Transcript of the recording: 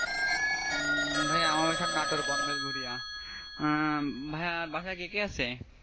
হম ভাইয়া আমার বাসা কাটোর বনবেলগুড়িয়া, আহ ভাইয়া বাসায় কে কে আছে?